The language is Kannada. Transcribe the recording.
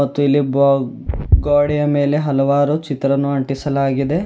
ಮತ್ತು ಇಲ್ಲಿ ಬ ಗೋಡೆಯ ಮೇಲೆ ಹಲವಾರು ಚಿತ್ರವನ್ನು ಅಂಟಿಸಲಾಗಿದೆ.